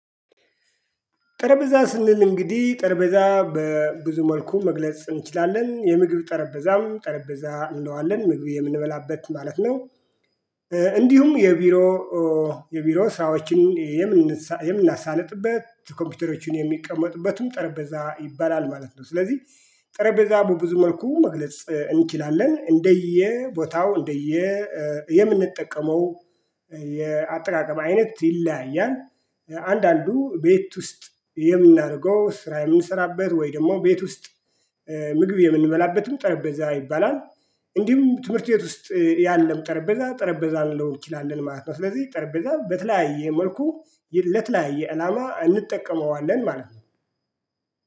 ጠረጴዛ ስንል እንግዲህ ጠረጴዛ በብዙ መልኩ መግለጽ እንችላለን የምግብ ጠረጴዛም ጠረጴዛ እንለዋለን ምግብ የምንበላበት ማለት ነው። እንዲሁም የቢሮ የቢሮ ሰራዎችን የምናሳልጥበት ኮምፒውተሮችን የሚቀመጥበትም ጠረጴዛ ይባላል ማለት ነው። ስለዚህ ጠረጴዛ በብዙ መልኩ መግለጽ እንችላለን እንደየ ቦታው እንደየ የምንጠቀመው የአጠቃቀም አይነት ይለያያል። አንዳንዱ ቤት ውስጥ የምናደርገው ስራ የምንሰራበት ወይ ደግሞ ቤት ውስጥ ምግብ የምንበላበትም ጠረጴዛ ይባላል። እንዲሁም ትምህርት ቤት ውስጥ ያለም ጠረጴዛ ጠረጴዛ ልልነው እንችላለን ማለት ነው። ስለዚህ ጠረጴዛ በተለያየ መልኩ ለተለያየ አላማ እንጠቀመዋለን ማለት ነው